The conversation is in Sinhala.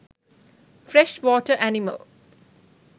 fresh water animal